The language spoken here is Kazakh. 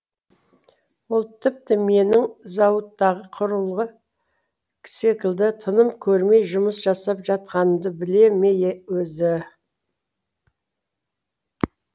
ол тіпті менің зауыттағы құрылғы секілді тыным көрмей жұмыс жасап жатқанымды біле ме өзі